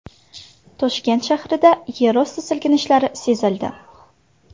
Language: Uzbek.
Toshkent shahrida yerosti silkinishlari sezildi.